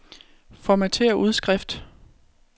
Formatér udskrift.